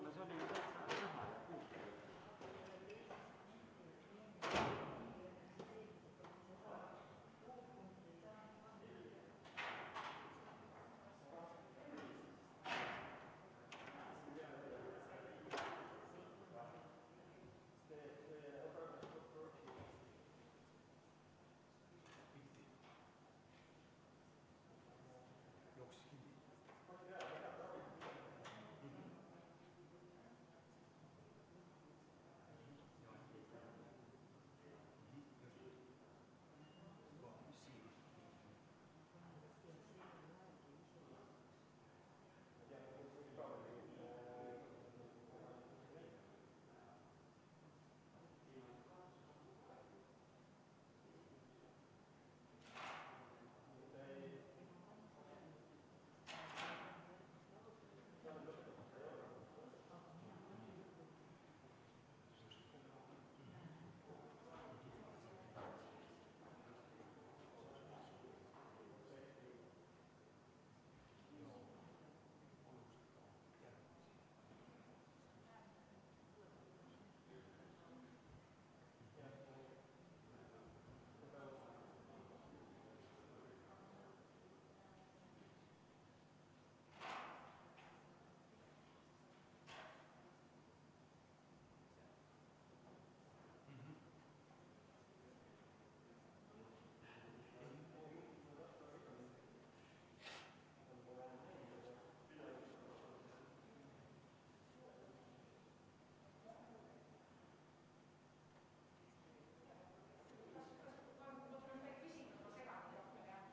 V a h e a e g